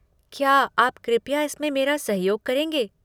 क्या आप कृपया इसमें मेरा सहयोग करेंगे?